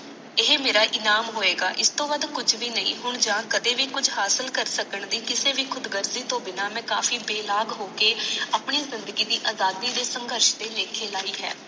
ਇਹ ਮੇਰਾ ਇਨਮ ਹੋਇਗਾ ਇਸਤੋਂ ਵਾਦ ਕੁਛ ਬੀ ਨਹੀਂ ਯ ਕਦੇ ਵੀ ਕੁਛ ਹਾਸਿਲ ਕਰ ਸਕਣ ਦੀ ਕਿਸੇ ਵੀ ਕੁਦ ਕਾਰਗੀ ਤੋਂ ਬਿਨਾ ਮੈ ਕਾਫੀ ਬੇਲਾਗ ਹੋਕੇ ਆਪਣੀ ਜਿੰਦਗੀ ਦੀ ਆਜ਼ਾਦੀ ਸ਼ਾਗ੍ਰਸ ਦੇ ਲਾਖੇ ਲਾਇ ਹੈ